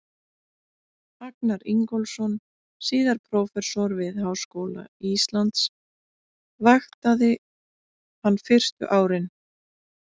Agnar Ingólfsson, síðar prófessor við Háskóla Íslands, vaktaði hann fyrstu árin.